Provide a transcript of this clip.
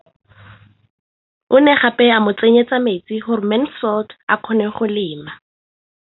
O ne gape a mo tsenyetsa metsi gore Mansfield a kgone go lema.